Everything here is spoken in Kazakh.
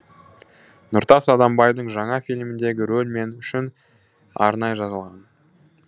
нұртас адамбайдың жаңа фильміндегі рөл мен үшін арнайы жазылған